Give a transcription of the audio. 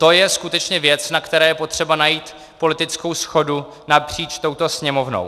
To je skutečně věc, na které je potřeba najít politickou shodu napříč touto Sněmovnou.